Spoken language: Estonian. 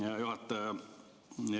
Hea juhataja!